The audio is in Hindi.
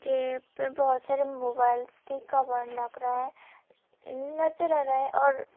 ये पे बहुत सारे मोबाइल्स की कवर लग रहा है नजर आ रहा है और--